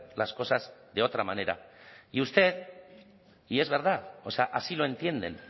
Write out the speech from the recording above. las cosas de otra manera y usted y es verdad o sea así lo entienden